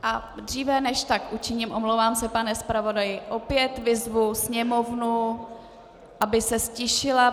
A dříve než tak učiním, omlouvám se pane zpravodaji, opět vyzvu sněmovnu, aby se ztišila.